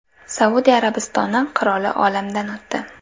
Saudiya Arabistoni qiroli olamdan o‘tdi.